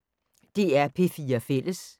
DR P4 Fælles